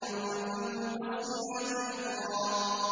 فَالْمُقَسِّمَاتِ أَمْرًا